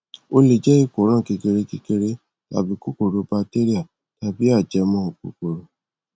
ó le jé ìkóràn kékeré kékeré tàbí kòkòrò batéríà tàbí ajẹmọ kókòrò